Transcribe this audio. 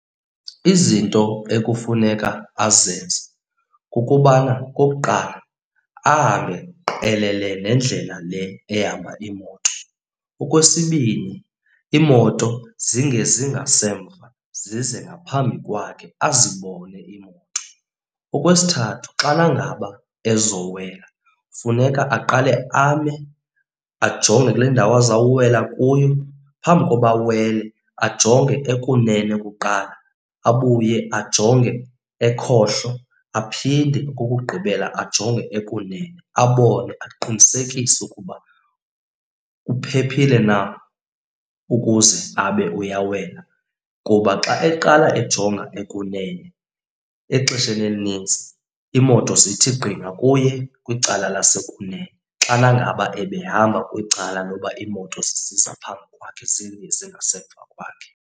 Izinto ekufuneka azenze kukubana okokuqala, ahambe qelele nendlela le ehamba iimoto. Okwesibini iimoto zingezi ngasemva, zize ngaphambi kwakhe azibone iimoto. Okwesithathu xana ngaba ezowela funeka aqale ame, ajonge kule ndawo azawuwela kuyo. Phambi koba awele, ajonge okunene kuqala, abuye ajonge ekhohlo, aphinde okokugqibela ajonge ekunene, abone aqinisekise ukuba uphephile na ukuze abe uyawela. Kuba xa eqala ejonga ekunene exesheni elinintsi iimoto zithi gqi ngakuye kwicala lasekunene xana ngaba ebehamba kwicala loba iimoto sisiza phambi kwakhe, zingezi ngasemva kwakhe.